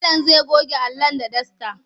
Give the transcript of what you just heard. Malam zai goge Alan da dasta.